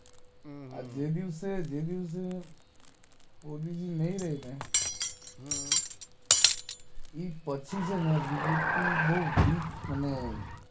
હમ્મ હમ્મ આ જે દિવસે જે દિવસે મોદીજી નાઈ રેઇ ને હમ્મ એ પછી છેને બીજેપી બોવ વીક અને